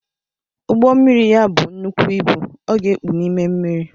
Ugbommiri ya bụọ nnekwụ ịbụ, ọ ga-ekpu n’ime mmiri